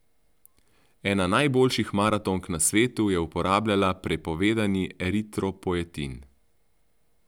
Ena najboljših maratonk na svetu je uporabljala prepovedani eritropoetin.